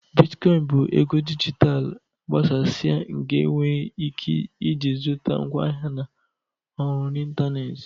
Bitcoin bụ ego dijitalụ agbasasịa nke enwere ike iji zụta ngwaahịa na ọrụ n'ịntanetị.